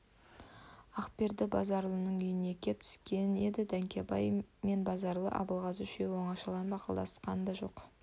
ақберді базаралының үйіне кеп түскен еді дәркембай мен базаралы абылғазы үшеу оңашалап ақылдасқан да жоқ